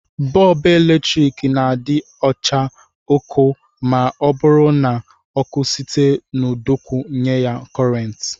Bọlbụ eletrik na-adị acha ọkụ ma ọ bụrụ na ọkụ site n'ụdọọkụ nye ya kọrentị